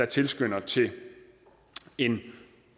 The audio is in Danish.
tilskynder til en